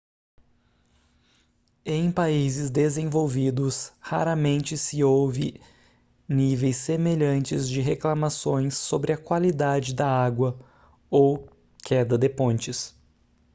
em países desenvolvidos raramente se ouve níveis semelhantes de reclamações sobre a qualidade da água ou queda de pontes